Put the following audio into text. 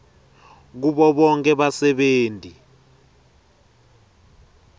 kubo bonkhe basebenti